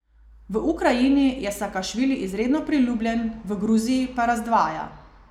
V Ukrajini je Sakašvili izredno priljubljen, v Gruziji pa razdvaja.